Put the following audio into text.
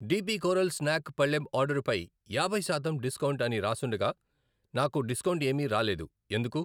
DP coral snack పళ్ళెం ఆర్డరుపై యాభై శాతం డిస్కౌంట్ అని రాసుండగా నాకు డిస్కౌంట్ ఏమీ రాలేదు ఎందుకు?